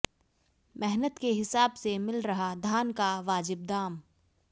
मेहनत के हिसाब से मिल रहा धान का वाजिब दाम